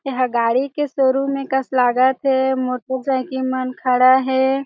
यहाँ गाड़ी के शोरूम हे कस लागत हे मोटरसाइकिल मन खड़ा हे।